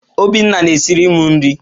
Obinna na-esiri m nri.